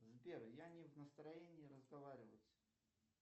сбер я не в настроении разговаривать